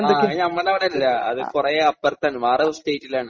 ആഹ്. അത് നമ്മളുടെ അവിടെ അല്ല. അത് കുറെ അപ്പുറത്താണ്. വേറെ ഒരു സ്റ്റേറ്റിലാണ്.